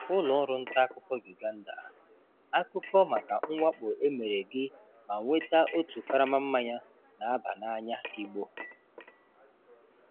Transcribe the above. Ụlọọrụ ntaakụkọ Uganda:Akụkọ maka mwakpo emere gị ma nweta otu karama mmanya n'aba na-anya igbo